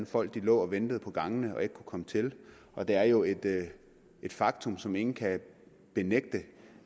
folk lå og ventede på gangene og ikke kunne komme til og det er jo et et faktum som ingen kan benægte